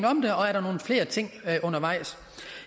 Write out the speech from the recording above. om der er nogle flere ting undervejs